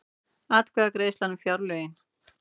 Atkvæðagreiðsla um fjárlögin